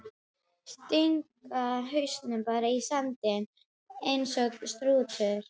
Stinga hausnum bara í sandinn eins og strúturinn!